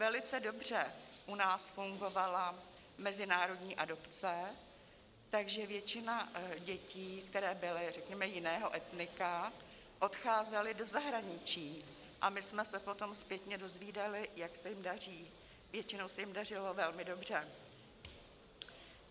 Velice dobře u nás fungovala mezinárodní adopce, takže většina dětí, které byly řekněme jiného etnika, odcházela do zahraničí a my jsme se potom zpětně dozvídali, jak se jim daří, většinou se jim dařilo velmi dobře.